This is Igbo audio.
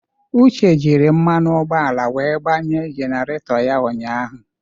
Uche jiri mmanụ ụgbọala wee gbanye jenerato ya ụnyahụ.